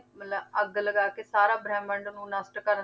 ਮਤਲਬ ਅੱਗ ਲਗਾ ਕੇ ਸਾਰਾ ਬ੍ਰਹਮੰਡ ਨੂੰ ਨਸ਼ਟ ਕਰਨ